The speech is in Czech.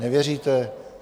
Nevěříte?